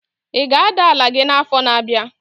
Ị ga-ada ala gị n'afọ na-abịa?